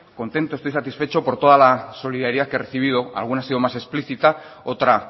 contento estoy satisfecho por toda la solidaridad que he recibido alguna ha sido más explícita otra